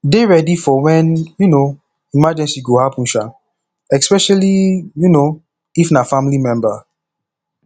dey ready for when um emergency go happen um especially um if na family member